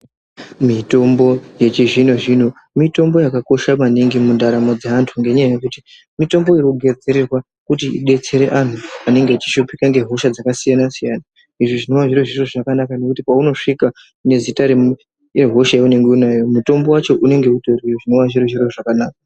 Mitombo yechizvino zvino mitombo yakakosha maningi mundaramo dzeantu. Ngenyaya yekuti mitombo inogadzirirwa kuti idetsere antu anenge achishupika ngehosha dzakasiyana siyana. Izvi zvinova zviri zviro zvakanaka nekuti paunosvika nezita rehosha yaunenge unayo mutombo wacho unenge utoriyo. Zvinova zviri zviro zvakanaka.